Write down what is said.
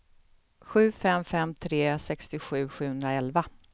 sju fem fem tre sextiosju sjuhundraelva